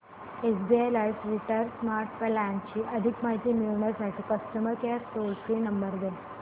SBI life retire smart plan ची अधिक माहिती मिळविण्यासाठी customer care toll free number दे